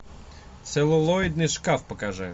целлулоидный шкаф покажи